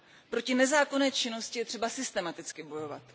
Proti nezákonné činnosti je třeba systematicky bojovat.